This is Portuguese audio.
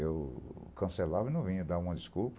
Eu cancelava e não vinha, dava uma desculpa.